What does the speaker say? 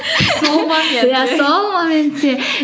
сол моментте иә сол моментте